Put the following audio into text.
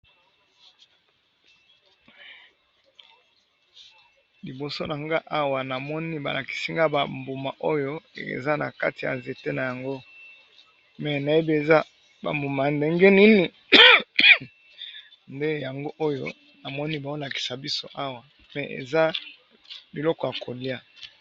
Liboso na nga awa namoni balakisi nga bambuma oyo eza na kati ya nzete na yango, me nayebi eza bambuma ndenge? Nini nde yango oyo namoni baolakisa biso awa nde eza liloko ya kolia.